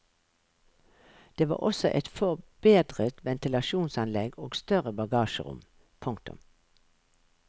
Det var også et forbedret ventilasjonsanlegg og større bagasjerom. punktum